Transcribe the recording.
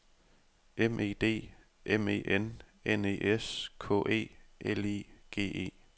M E D M E N N E S K E L I G E